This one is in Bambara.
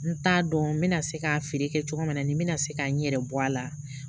N t'a dɔn n bɛna se ka feere kɛ cogo min na ni n bɛna se ka n yɛrɛ bɔ a la